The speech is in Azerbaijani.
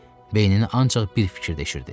Beynini ancaq bir fikir dəşirdi.